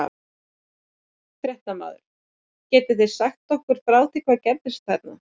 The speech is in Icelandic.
Fréttamaður: Getið þið eitthvað sagt okkur frá því hvað gerðist þarna?